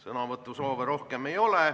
Sõnavõtusoove rohkem ei ole.